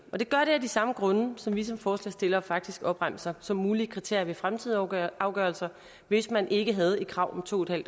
og det gør det af de samme grunde som vi som forslagsstillere faktisk opremser som mulige kriterier ved fremtidige afgørelser afgørelser hvis man ikke havde et krav om to en